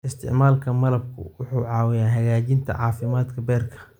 Isticmaalka malabku wuxuu caawiyaa hagaajinta caafimaadka beerka.